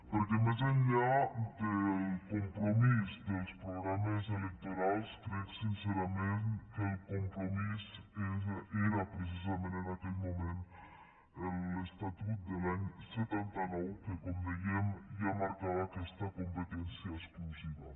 perquè més enllà del compromís dels programes electorals crec sincerament que el compromís era precisament en aquell moment l’estatut de l’any setanta nou que com dèiem ja marcava aquesta competència exclusiva